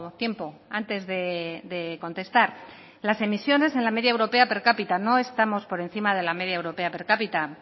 tiempo antes de contestar las emisiones en la media europea per cápita no estamos por encima de la media europea per cápita